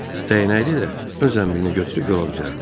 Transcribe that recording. Dəyənəkli də öz zənbilini götürüb yola düzəldi.